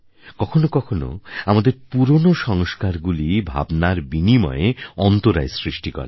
কখনো কখনো আমাদের পুরনো সংস্কারগুলি ভাবনার বিনিময়ে অন্তরায় সৃষ্টি করে